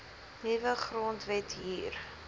nuwe grondwet hier